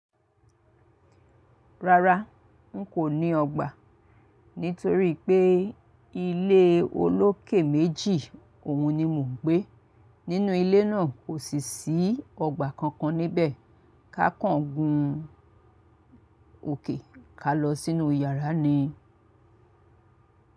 Rárá, n kò ní ọgbà nítorí pé ilé olókè méjì òun ni mò ń gbé. Nínú ilé náà kò sì sí ọgbà kankan níbẹ̀. Ka kàn gùn òkè ka lọ sínú yàrá ni.